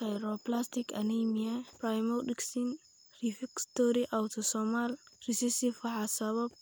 Sideroblastic anemia pyridoxine refractory autosomal recessive waxaa sababa